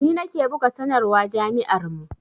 Ni nake buga sanarwa jami'ar mu